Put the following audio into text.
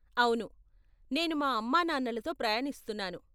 అవును, నేను మా అమ్మానాన్నలతో ప్రయాణిస్తున్నాను.